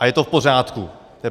A je to v pořádku.